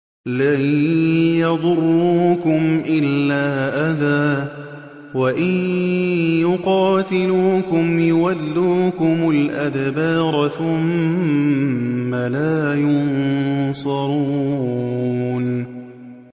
لَن يَضُرُّوكُمْ إِلَّا أَذًى ۖ وَإِن يُقَاتِلُوكُمْ يُوَلُّوكُمُ الْأَدْبَارَ ثُمَّ لَا يُنصَرُونَ